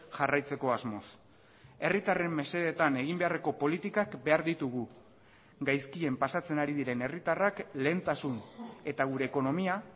jarraitzeko asmoz herritarren mesedetan egin beharreko politikak behar ditugu gaizkien pasatzen ari diren herritarrak lehentasun eta gure ekonomia